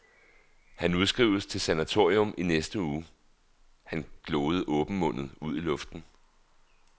Han udskrives til sanatorium i næste uge. Han gloede åbenmundet ud i luften.